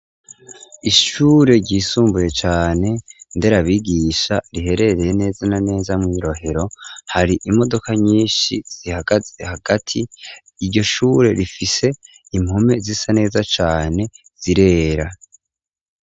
Ishure ryisumbuye cane nderabigisha riherereye neza na neza mu Rohero hari imodoka nyishi zihagaze hagati iryo shure rifise impome zisa neza cane zirera.